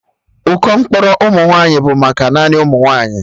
Ụkọ mkpọrọ ụmụ nwaanyị bụ maka naanị ụmụnwaanyi